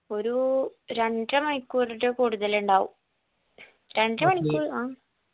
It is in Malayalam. ഒരു രണ്ടര മണിക്കൂർ റ്റൊ കൂടുതലുണ്ടാവും ആ